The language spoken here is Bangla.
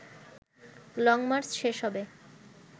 লং মার্চ শেষ হবে